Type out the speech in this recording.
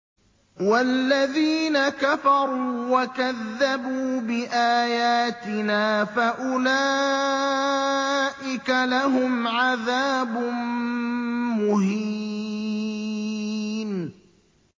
وَالَّذِينَ كَفَرُوا وَكَذَّبُوا بِآيَاتِنَا فَأُولَٰئِكَ لَهُمْ عَذَابٌ مُّهِينٌ